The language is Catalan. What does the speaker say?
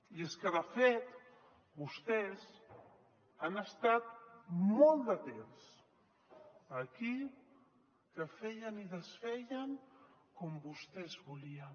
i és que de fet vostès han estat molt de temps aquí que feien i desfeien com vostès volien